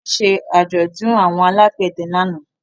Wọ́n ṣe àjọ̀dún àwọn alágbẹ̀dẹ lánàá.